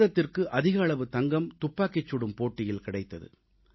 பாரதத்திற்கு அதிக அளவு தங்கம் துப்பாக்கிச் சுடும் போட்டியில் கிடைத்தது